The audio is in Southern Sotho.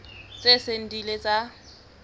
tse seng di ile tsa